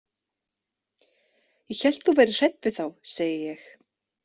Ég hélt þú værir hrædd við þá, segi ég.